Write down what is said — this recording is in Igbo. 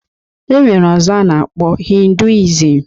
E nwere ọzọ a na-akpọ hinduism